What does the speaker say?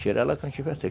Tira ela quando tiver seco.